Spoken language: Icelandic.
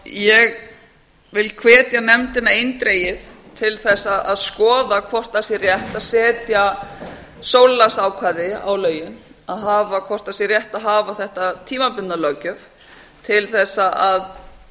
ég vil hvetja nefndina eindregið til þess að skoða hvort það sé rétt að setja sólarlagsákvæði á lögin hvort sé rétt að hafa þetta tímabundna löggjöf til þess að